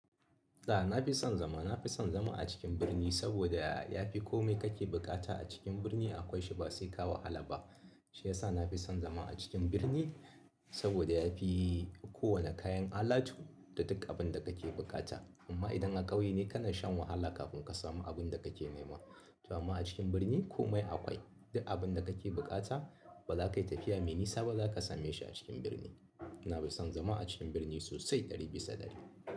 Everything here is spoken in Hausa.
A'a na fi son zama, na fi son zama a cikin birni saboda ya fi kome kake bukata a cikin birni akwai shi ba sai ka wa wahala ba. Shiyasa na fi son zama a cikin birni saboda ya fi kowane kayan alatu da duk abin da kake bukata. Amma idan a kauye ne kana shan wahala kafin ka samu abinda kake nema to amma a cikin birni kome akwai, duk abin da kake bukata baza kai tafiya mai nisa ba zaka sameshi a cikin birni. Na fi son zama a cikin birni sosai ɗari bisa ɗari.